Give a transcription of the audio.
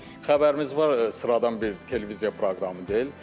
Xəbərimiz var sıradan bir televiziya proqramı deyil.